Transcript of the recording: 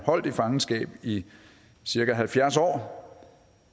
holdt i fangenskab i cirka halvfjerds år